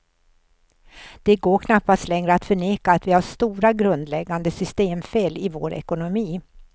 Det går knappast längre att förneka att vi har stora, grundläggande systemfel i vår ekonomi.